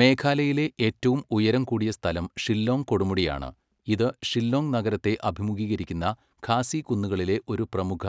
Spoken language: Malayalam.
മേഘാലയയിലെ ഏറ്റവും ഉയരം കൂടിയ സ്ഥലം ഷില്ലോങ് കൊടുമുടിയാണ്, ഇത് ഷില്ലോംഗ് നഗരത്തെ അഭിമുഖീകരിക്കുന്ന ഖാസി കുന്നുകളിലെ ഒരു പ്രമുഖ